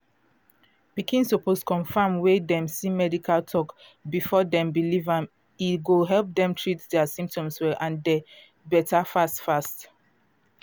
pikin suppose confam wey dem see medical talk before dem believe am e go help dem treat dia symptoms well and dey better fast fast.